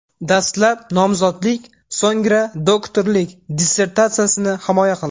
Dastlab nomzodlik, so‘ngra doktorlik dissertatsiyasini himoya qildi.